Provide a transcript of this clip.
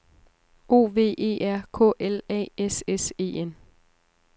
O V E R K L A S S E N